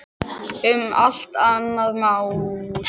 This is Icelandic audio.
Um allt annað má tala.